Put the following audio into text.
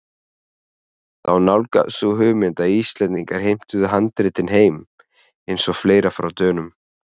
Þá nálgaðist sú hugmynd að Íslendingar heimtuðu handritin heim- eins og fleira frá Dönum.